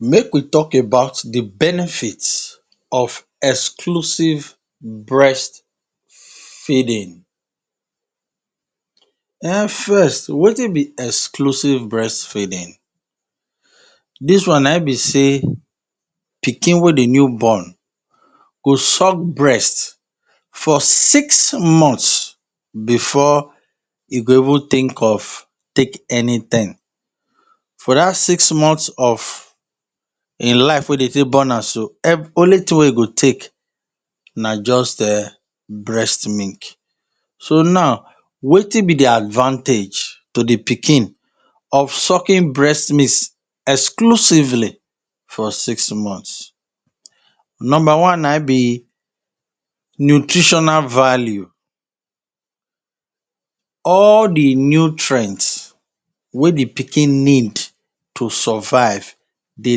Make we talk about the benefit of exclusive breastfeeding. um First, wetin be exclusive breastfeeding? Dis one na ein be sey pikin wey de new born go suck breastfeeding for six months before e go even think of take anything. For dat six months of ein life wey de take born an so, only tin wey e go take na juz um breast milk. So nau, wetin be the advantage to the pikin of sucking breast miss exclusively for six months? Nomba one na ein be nutritional value: All the nutrient wey the pikin need to survive dey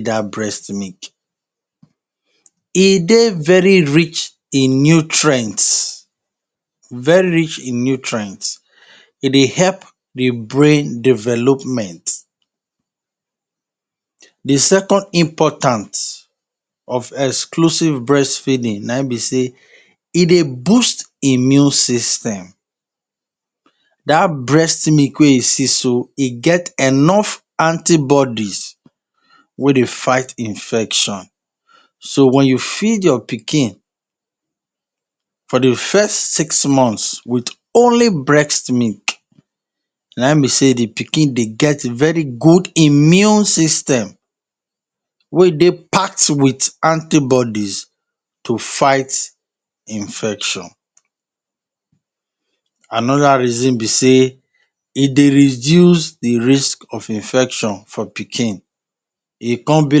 dat breast milk. E dey very rich in nutrients, very rich in nutrients. E dey help the brain development. The second important of exclusive breastfeeding na ein be sey e dey boost immune system: Dat breast milk wey you see so, e get enough antibodies wey dey fight infection. So, wen you feed your pikin for the first six months with only breast milk, na ein be sey the pikin dey get very good immune system wey dey packed with antibodies to fight infection. Another reason be sey e dey reduce the risk of infection for pikin: E con be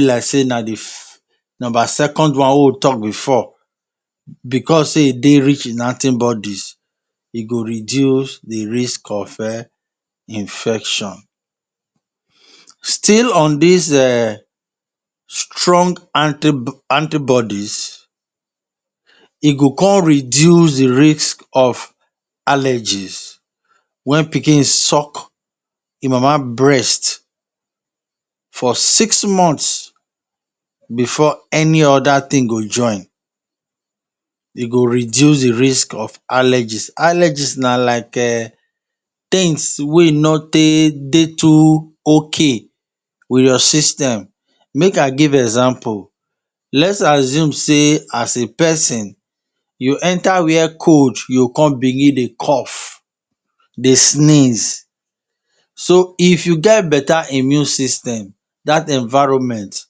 like sey na the nomba second one wey we talk before. Becos sey e dey rich in antibodies, e go reduce the risk of um infection. Still on dis um strong antibodies, e go con reduce the risk of allergies: Wen pikin suck ein mama breast for six months before any other tin go join, e go reduce the risk of allergies. Allergies na like um tins wey no tey dey too okay with your system. Make I give example: Let's assume sey as a pesin, you enter where cold, you con begin dey cough, dey sneeze. So, if you get beta immune system, dat environment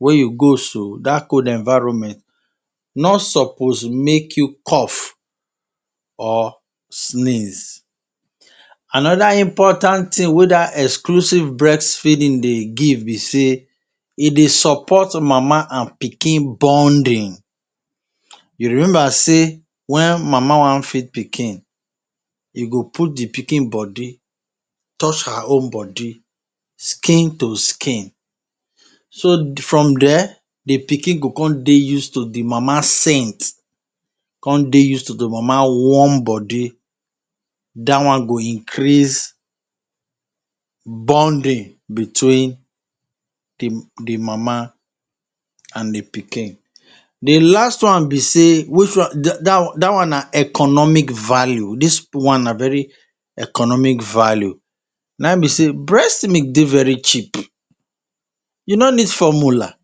wey you go so, dat cold environment no suppose make you cough or sneeze. Another important tin wey dat exclusive breastfeeding dey give be sey e dey support mama an pikin bonding: You remember sey wen mama wan feed pikin, e go put the pikin body touch her own body skin to skin. So, from there, the pikin go con dey use to the mama scent, con dey use to the mama warm body. Dat one go increase bonding between the the mama an the pikin. The last one be sey which one dat one na economic value. Dis one na very economic value: Na ein be sey breast milk dey very cheap. You no need formula,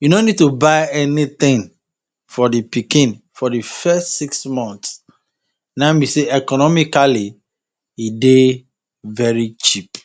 you no need to buy anything for the pikin for the first six month. Na ein be sey economically, e dey very cheap.